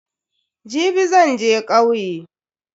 Jibi zan je kauye.